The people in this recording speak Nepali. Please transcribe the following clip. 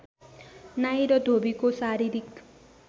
नाई र धोबीको शारीरिक